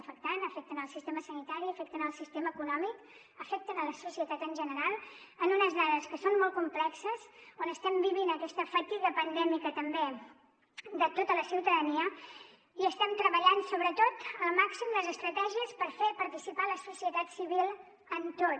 afecten el sistema sanitari i afecten el sistema econòmic afecten la societat en general en unes dades que són molt complexes on estem vivint aquesta fatiga pandèmica també de tota la ciutadania i estem treballant sobretot al màxim les estratègies per fer participar la societat civil en tot